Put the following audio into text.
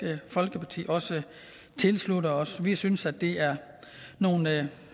folkeparti også tilslutte os vi synes at det er nogle